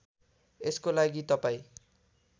यसको लागि तपाईँ